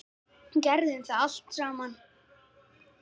Gerðum allt saman.